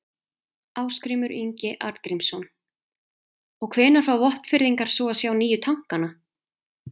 Ásgrímur Ingi Arngrímsson: Og hvenær fá Vopnfirðingar svo að sjá nýju tankana?